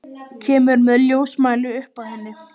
Kemur með ljósmæli upp að henni.